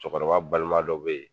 Cɔkɔrɔba balima dɔ be yen